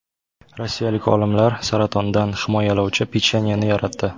Rossiyalik olimlar saratondan himoyalovchi pechenyeni yaratdi.